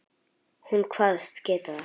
Hún kvaðst geta það.